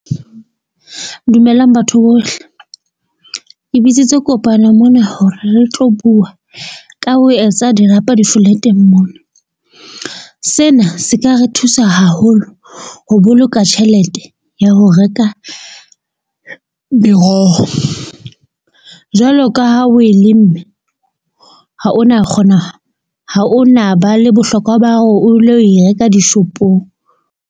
Dumelang batho bohle le bitsitswe kopanong mona hore re tlo bua ka ho etsa dirapa di-flat-eng mona. Sena se ka re thusa haholo ho boloka tjhelete ya ho reka meroho. Jwalo ka ha o e lemme, ha o na kgona ha o na ba le bohlokwa ba hore o lo e reka dishopong.